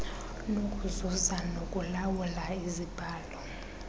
nokuzuza nokulawula izibhalo